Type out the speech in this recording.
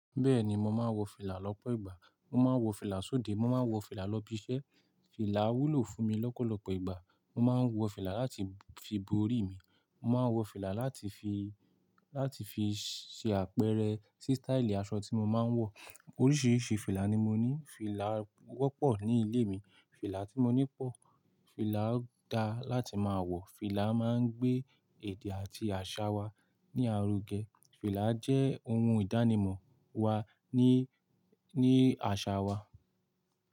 Bẹ́ẹ̀ni, mo máa ń wọ fìlà lọ́pọ̀ ìgbà. Mo máa ń wọ fìlà sóde, mo máa ń wọ fìlà lọ ibi iṣẹ́. Fìlà wúlò fún mi lọ́pọ̀lọpọ̀ ìgbà. Mo máa ń wọ fìlà láti fi bo orí mi, mo máa ń wọ fìlà láti fi, láti fi ṣe àpẹẹrẹ sí sítáílì aṣọ tí mo máa ń wọ. Oríṣiríṣi fìlà ni mo ní. Fìlà wọ́pọ̀ ní ilé mi. Fìlà tí mo ní pọ̀. Fìlà dáa láti máa wọ̀, fìlà máa ń gbé èdè àti àṣà wa ní aruge. Fìlà jẹ́ ohun ìdánimọ̀ wa ní, ní àṣà wa.